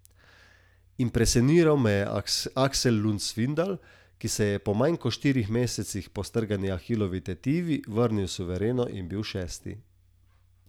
Impresioniral me je Aksel Lund Svindal, ki se je po manj kot štirih mesecih po strgani ahilovi tetivi vrnil suvereno in bil šesti.